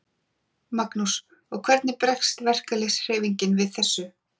Magnús: Og hvernig bregst verkalýðshreyfingin við þessu?